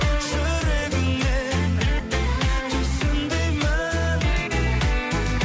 жүрегіңмен түсін деймін